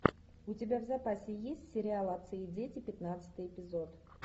у тебя в запасе есть сериал отцы и дети пятнадцатый эпизод